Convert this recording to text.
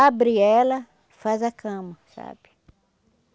Abre ela, faz a cama, sabe?